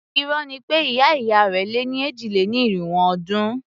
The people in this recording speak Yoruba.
Irọ́ ni pé ìyá ìyá rẹ̀ lé ní èjì-lé-ní-irínwó ọdún.